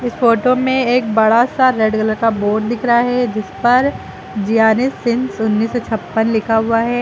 इस फोटो में एक बड़ा सा रेड कलर का बोर्ड दिख रहा है जिस पर ज्यानिस सिंस उन्नीस सौ छप्पन लिखा हुआ है।